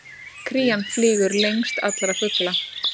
Krían flýgur lengst allra fugla!